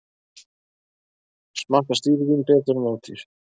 Smakkast dýr vín betur en ódýr